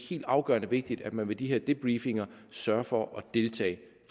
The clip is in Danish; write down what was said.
helt afgørende vigtigt at man ved de her debriefinger sørger for at deltage